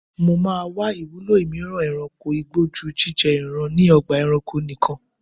Mo máa wá ìwúlò mìíràn e̩ranko igbó ju jíjé̩ ìran ni o̩gbà e̩ranko nikan.